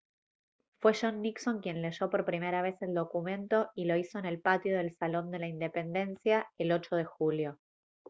fue john nixon quien leyó por primera vez el documento y lo hizo en el patio del salón de la independencia el 8 de julio